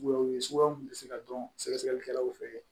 suguya mun be se ka dɔn sɛgɛli kɛlaw fɛ